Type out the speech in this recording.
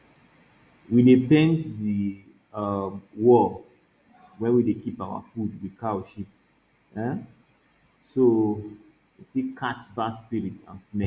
we dey paint di um wall wey we dey keep our food with cow sheat um so e fit catch bad spirit and smell